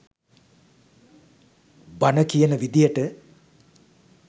බණ කියන විදියට